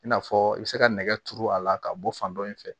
I n'a fɔ i bɛ se ka nɛgɛ turu a la ka bɔ fan dɔ in fɛ